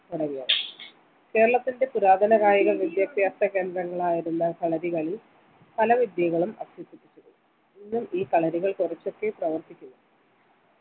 തുടങ്ങിയവ കേരളത്തിൻറെ പുരാതന കായിക വിദ്യാഭ്യാസ കേന്ദ്രങ്ങളായിരുന്നു കളരികളി പല വിദ്യകളും അഭ്യസിപ്പിച്ചിരുന്നു ഇന്നും ഈ കളരികൾ കുറച്ചൊക്കെ പ്രവർത്തിക്കുന്നു